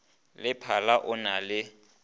le phala o na le